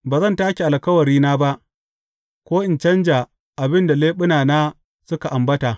Ba zan take alkawarina ba ko in canja abin da leɓunana suka ambata.